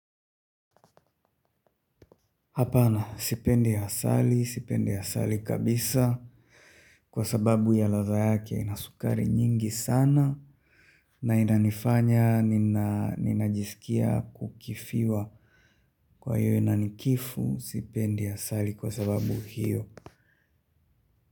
Hapana sipendi asali, sipendi asali kabisa kwa sababu ya ladha yake ina sukari nyingi sana na inanifanya ninajiskia kukifiwa kwa hiyo inanikifu sipendi asali kwa sababu hiyo.